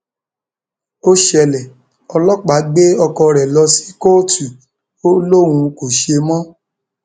ó ṣẹlẹ ọlọpàá gbé ọkọ rẹ lọ sí kóòtù ó lóun kò ṣe mọ